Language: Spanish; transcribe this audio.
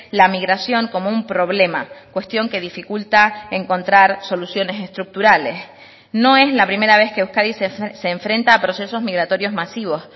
la migración como un problema cuestión que dificulta encontrar soluciones estructurales no es la primera vez que euskadi se enfrenta a procesos migratorios masivos